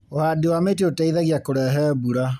Ũhandi wa mĩtĩ ũteithagia kũrehe mbura.